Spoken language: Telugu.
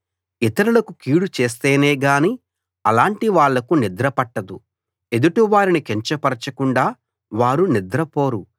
ఇతరులకు కీడు చేస్తేనేగాని అలాంటి వాళ్లకి నిద్ర పట్టదు ఎదుటి వారిని కించపరచకుండా వారు నిద్రపోరు